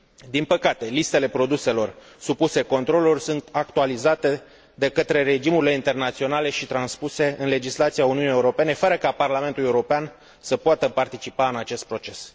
Din păcate, listele produselor supuse controlului sunt actualizate de către regimurile internaționale și transpuse în legislația Uniunii Europene fără ca Parlamentul European să poată participa la acest proces.